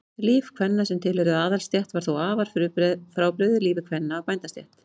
líf kvenna sem tilheyrðu aðalsstétt var þó afar frábrugðið lífi kvenna af bændastétt